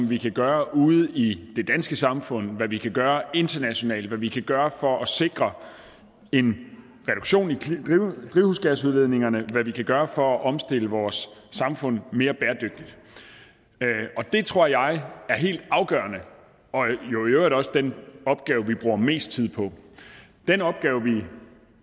vi kan gøre ude i det danske samfund hvad vi kan gøre internationalt hvad vi kan gøre for at sikre en reduktion i drivhusgasudledningerne og hvad vi kan gøre for at omstille vores samfund til være mere bæredygtigt det tror jeg er helt afgørende og jo i øvrigt også den opgave vi bruger mest tid på den opgave vi